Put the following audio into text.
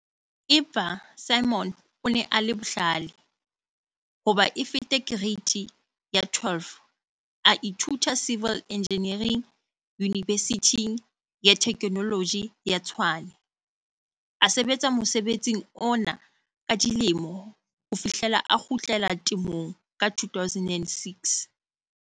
Empa Simon o ne a le bohlale. Hoba e fete Kereiti ya 12 a ithuta Civil Engineering Yunibesithing ya Theknoloji ya Tshwane. A sebetsa mosebetsing ona ka dilemo ho fihlela a kgutlela temong ka 2006.